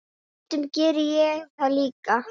Stundum gerði ég það líka.